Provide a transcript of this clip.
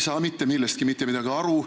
Te ei saa mitte millestki midagi aru.